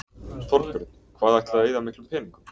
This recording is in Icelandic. Þorbjörn: Hvað ætliði að eyða miklum peningum?